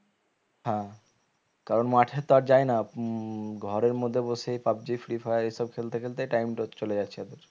হ্যাঁ কারণ মাঠে তো আর যায় না ঘরের মধ্যে বসেই Pub G Free fire এ সব খেলতে খেলতেই time টা চলে যাচ্ছে ওদের